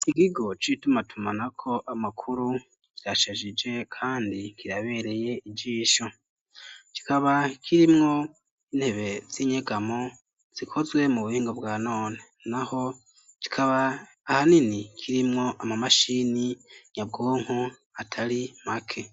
Ikigo c'itumatumanako amakuru kirashajije kandi kirabereye ijisho kikaba kirimwo intebe z'inyegamo zikozwe mu buhingo bwa none naho kikaba ahanini kirimwo ama mashini nyabwonko atari make.